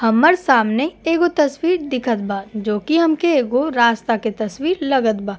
हम्मर सामने एगो तस्वीर दिखत बा जो की हमके एगो रास्ता के तस्वीर लगत बा।